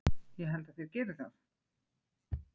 Ég held að þeir geri það!